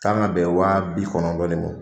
Kan ka bɛn wa bi kɔnɔntɔn de ma.